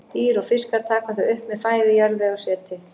Dýr og fiskar taka þau upp með fæðu, jarðvegi og seti.